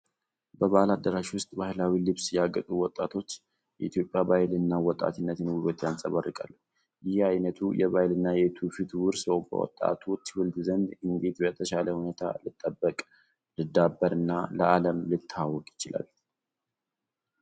በበዓል አዳራሽ ውስጥ በባህላዊ ልብስ ያጌጡ ወጣቶች የኢትዮጵያን ባህል እና የወጣትነትን ውበት ያንጸባርቃሉ። ይህ ዓይነቱ የባህልና የትውፊት ውርስ በወጣቱ ትውልድ ዘንድ እንዴት በተሻለ ሁኔታ ሊጠበቅ፣ ሊዳብርና ለዓለም ሊተዋወቅ ይችላል?